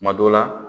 Kuma dɔ la